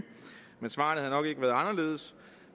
men svarene havde nok ikke været anderledes